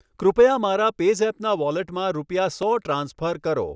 કૃપયા મારા પેઝૅપના વૉલેટમાં રૂપિયા સો ટ્રાન્સફર કરો